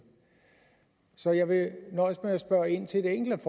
så jeg vil nøjes med at spørge ind til et enkelt